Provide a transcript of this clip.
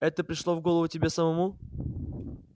это пришло в голову тебе самому